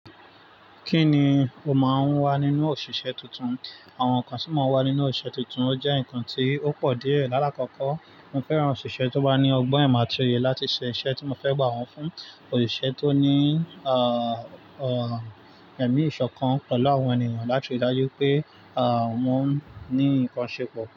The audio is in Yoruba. Kíni o máa ń wá nínú òṣìṣẹ́ tuntun? Àwọn nǹkan tí mò n wà nínú òṣìṣẹ́ tuntun ó jẹ́ nǹkan tí ó pọ̀ díẹ̀. Lálá kọ́kọ́, mo fẹ́ran òṣìṣẹ́ tó bá ní ọgbọ́n, ìmọ̀ àti òye láti ṣe iṣẹ́ tí mo fẹ́ gbà wọ́n fún, òṣìṣẹ́ tó ní, à, ọ, ẹmi ìṣọ̀kan pẹ̀lú àwọn ènìyàn láti rí i dájú pé, à, wọ́n ní nǹkan ṣe pọ̀